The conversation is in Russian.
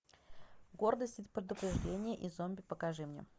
гордость и предубеждение и зомби покажи мне